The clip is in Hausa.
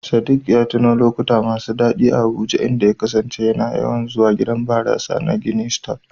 Sadik ya tuno da lokuta masu daɗi a Abuja, inda ya kasance yana yawan zuwa gidan barasa na "Guinness stout".